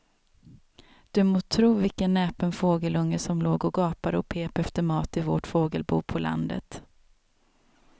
Du må tro vilken näpen fågelunge som låg och gapade och pep efter mat i vårt fågelbo på landet.